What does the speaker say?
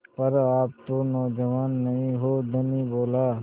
पर आप तो नौजवान नहीं हैं धनी बोला